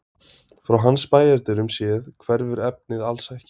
Frá hans bæjardyrum séð hverfur efnið alls ekki.